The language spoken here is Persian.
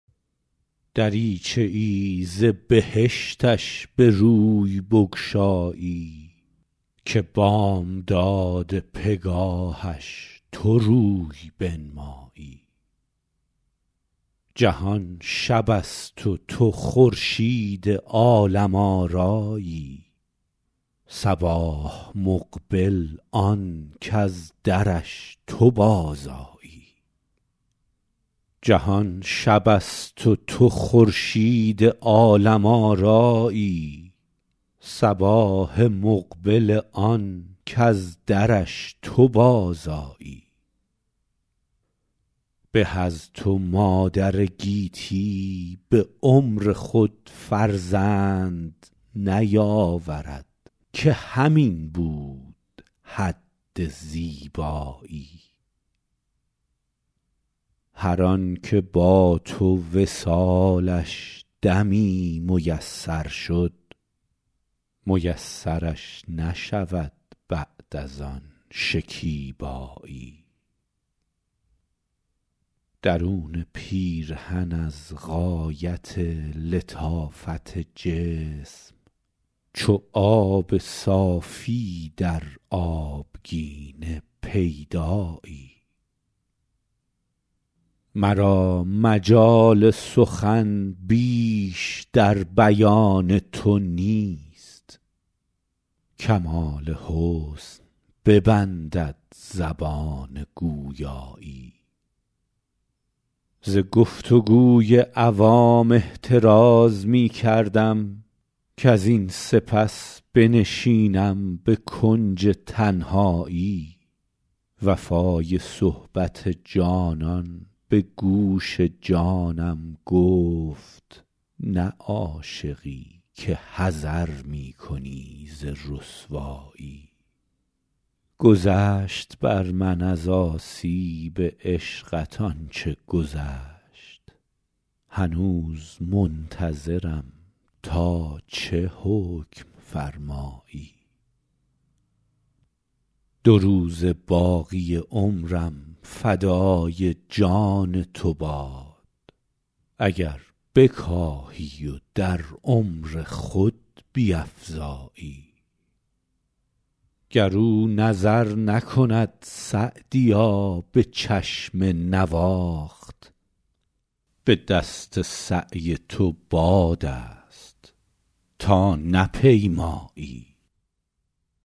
دریچه ای ز بهشتش به روی بگشایی که بامداد پگاهش تو روی بنمایی جهان شب است و تو خورشید عالم آرایی صباح مقبل آن کز درش تو بازآیی به از تو مادر گیتی به عمر خود فرزند نیاورد که همین بود حد زیبایی هر آن که با تو وصالش دمی میسر شد میسرش نشود بعد از آن شکیبایی درون پیرهن از غایت لطافت جسم چو آب صافی در آبگینه پیدایی مرا مجال سخن بیش در بیان تو نیست کمال حسن ببندد زبان گویایی ز گفت و گوی عوام احتراز می کردم کزین سپس بنشینم به کنج تنهایی وفای صحبت جانان به گوش جانم گفت نه عاشقی که حذر می کنی ز رسوایی گذشت بر من از آسیب عشقت آن چه گذشت هنوز منتظرم تا چه حکم فرمایی دو روزه باقی عمرم فدای جان تو باد اگر بکاهی و در عمر خود بیفزایی گر او نظر نکند سعدیا به چشم نواخت به دست سعی تو باد است تا نپیمایی